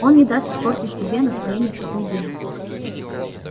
он не даст испортить тебе настроение в такой день